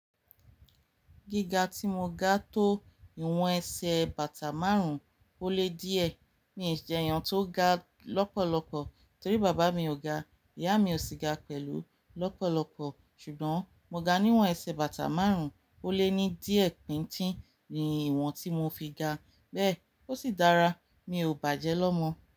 Gíga tí mo ga tó ìwọ̀n ẹsẹ̀ bàtà márùn-ún ó lé díẹ̀. Mi jé yàn tó ga lọ́pọ̀lọ́pọ̀ torí bàbá mi ò ga, ìyá mi ò sì ga pẹ̀lú lọ́pọ̀lọ́pọ̀. Ṣùgbọ́n mo ga níwọ̀n ẹsẹ̀ bàtà márùn-ún ó lé ní díẹ̀ bín tí, nìwọ̀n tí mo fi ga, bẹ́ẹ̀ ó sì dára, mi ò bàjẹ́ lọ́mọ.